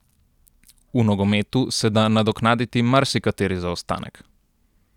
V nogometu se da nadoknaditi marsikateri zaostanek.